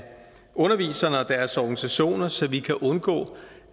underviserne og deres organisationer så vi kan undgå